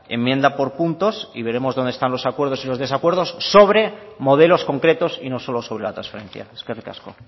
enmienda por puntos y veremos donde están los acuerdos y los desacuerdos sobre modelos concretos y no solo sobre la transferencia eskerrik asko